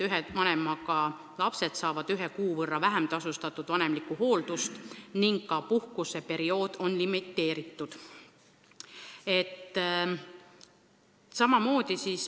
Ühe vanemaga lapsed saavad ühe kuu võrra vähem tasustatud vanemlikku hooldust ning ka puhkuseperiood on limiteeritud.